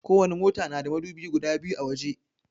Ko wani mota na da madubi guda biyu a waje